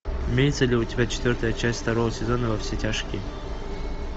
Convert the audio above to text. имеется ли у тебя четвертая часть второго сезона во все тяжкие